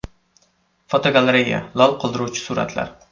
Fotogalereya: Lol qoldiruvchi suratlar.